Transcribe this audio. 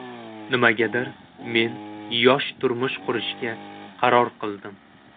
Nimagadir, men yosh turmush qurishga qaror qildim.